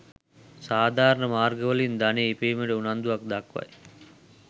සාධාරණ මාර්ගවලින් ධනය ඉපයීමට උනන්දුවක්‌ දක්‌වයි.